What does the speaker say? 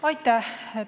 Aitäh!